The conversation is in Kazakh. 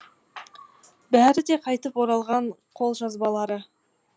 бәрі де қайтып оралған қолжазбалары